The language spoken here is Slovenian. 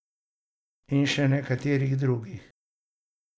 In še katerih drugih.